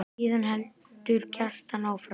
Síðan heldur Kjartan áfram